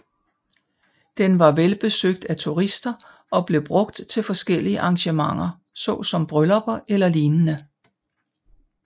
Den var velbesøgt af turister og blev brugt til forskellige arrangementer såsom bryllupper eller lignende